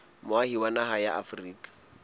moahi wa naha ya afrika